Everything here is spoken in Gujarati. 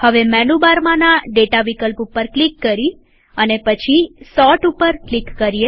હવે મેનુ બારમાંના ડેટા વિકલ્પ ઉપર ક્લિક કરી અને પછી સોર્ટ ઉપર ક્લિક કરીએ